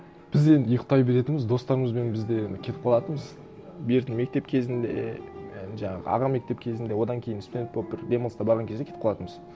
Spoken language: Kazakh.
біз енді ұйықтай беретінбіз достарымызбен біз де енді кетіп қалатынбыз бертін мектеп кезінде і жаңағы аға мектеп кезінде одан кейін студент болып бір демалыста барған кезде кетіп қалатынбыз